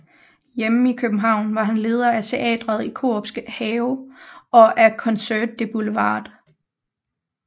Hjemme i København var han leder af teatret i Korups Have og af Concert du Boulevard